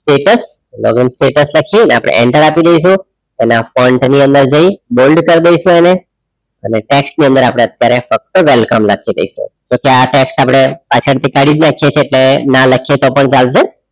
status login status લખીએ અને આપણે enter આપી દઈશું એના front ની અંદર જઈ bold કરી દઈશું એને અને tax ની અંદર આપણે અત્યારે ફક્ત welcome લખી દઈશું જોકે આ tax આપણે પાછળથી કાઢી જ નાખીએ છીએ એટલે ના લખીએ તો પણ ચાલશે.